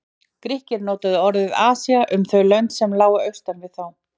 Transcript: Grikkir notuðu orðið Asía um þau lönd sem lágu austan við þá.